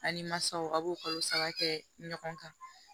A ni masaw a b'o kalo saba kɛ ɲɔgɔn kan